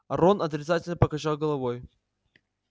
рон отрицательно покачал головой